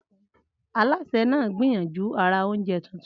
Alásè náà gbìyànjú àrà oúnjẹ tuntun.